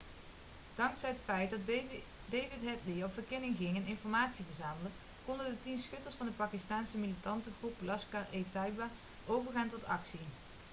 dankzij het feit dat david headly op verkenning ging en informatie verzamelde konden de 10 schutters van de pakistaanse militantengroep laskhar-e-taiba overgaan tot actie